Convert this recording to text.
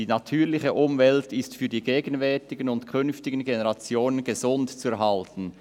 «Die natürliche Umwelt ist für die gegenwärtigen und künftigen Generationen gesund zu erhalten.